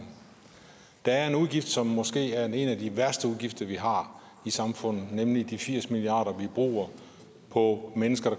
der er en udgift som måske er en af de værste udgifter vi har i samfundet nemlig de firs milliard vi bruger på mennesker